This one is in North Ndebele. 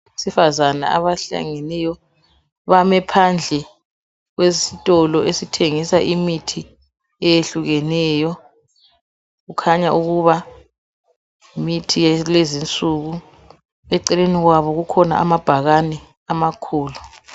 Abesifazana abahlanganeyo bame phandle kwesito esithengisa imithi eyehlukeneyo kukhanyaukuba yimithi yakulezi insuku eceleni kwabo kukhona amabhakani amakhulu.